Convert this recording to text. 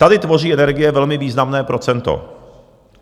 Tady tvoří energie velmi významné procento.